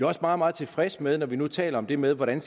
også meget meget tilfredse med når vi nu taler om det med hvordan